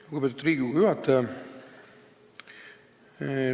Lugupeetud Riigikogu juhataja!